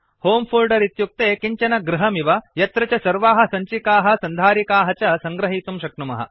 होमे फोल्डर इत्युक्ते किञ्चन गृहमिव यत्र च सर्वाः सञ्चिकाः सन्धारिकाः च सङ्गृहीतुं शक्नुमः